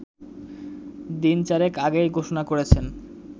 দিনচারেক আগেই ঘোষণা করেছেন